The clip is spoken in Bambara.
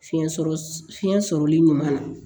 Fiɲɛ sɔrɔ fiɲɛ sɔrɔli ɲuman na